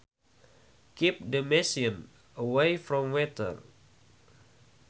Keep the machine away from water